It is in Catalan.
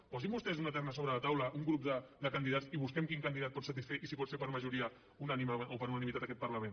posin vostès una terna sobre la taula un grup de candidats i busquem quin candidat pot satisfer i si pot ser per majoria unànime o per unanimitat aquest parlament